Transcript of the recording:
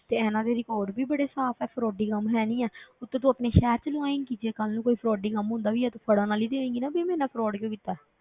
ਤੇ ਇਹਨਾਂ ਦੇ record ਵੀ ਬੜੇ ਸਾਫ਼ ਹੈ frauding ਹੈ ਨੀ ਹੈ ਉੱਤੋਂ ਤੂੰ ਆਪਣੇ ਸ਼ਹਿਰ ਵਿੱਚੋਂ ਲਵਾਏਂਗੀ ਜੇ ਕੱਲ੍ਹ ਨੂੰ ਕੋਈ frauding ਹੁੰਦਾ ਵੀ ਹੈ ਤੇ ਫੜਨ ਵਾਲੀ ਤੇ ਹੋਏਂਗੀ ਨਾ ਵੀ ਮੇਰੇ ਨਾਲ fraud ਕਿਉਂ ਕੀਤਾ ਹੈ,